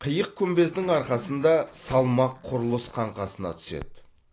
қиық күмбездің арқасында салмақ құрылыс қаңқасына түседі